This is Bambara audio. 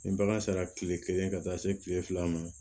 Ni bagan sera tile kelen ka taa se kile fila ma